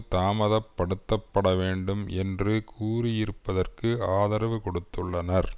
தாமத படுத்த பட வேண்டும் என்று கூறியிருப்பதற்கு ஆதரவு கொடுத்துள்ளனர்